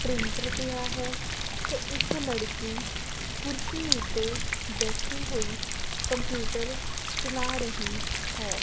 Printer ਪਿਆ ਹੈ ਤੇ ਇੱਕ ਲੜਕੀ ਕੁਰਸੀ ਓੱਤੇ ਬੈਠੀ ਹੋਈ ਕੰਪਿਊਟਰ ਚਲਾ ਰਹੀ ਹੈ।